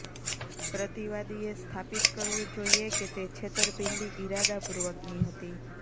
પ્રતિવાદીએ સ્થાપિત કરવું જોઈએ કે તે છેતરપિંડી ઇરાદાપૂર્વકની હતી